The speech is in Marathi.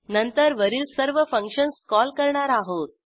नंतर वरील सर्व फंक्शन्स कॉल करणार आहोत